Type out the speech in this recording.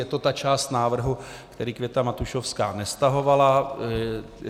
Je to ta část návrhu, který Květa Matušovská nestahovala.